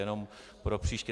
Jenom pro příště.